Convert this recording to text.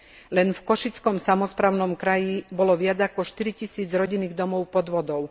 Len v Košickom samosprávnom kraji bolo viac ako 4 tisíc rodinných domov pod vodou.